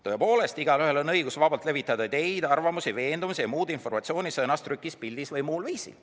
Tõepoolest, igaühel on õigus vabalt levitada ideid, arvamusi, veendumusi ja muud informatsiooni sõnas, trükis, pildis või muul viisil.